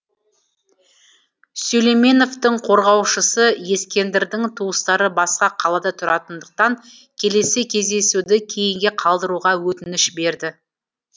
сүлейменовтың қорғаушысы ескендірдің туыстары басқа қалада тұратындықтан келесі кездесуді кейінге қалдыруға өтініш берді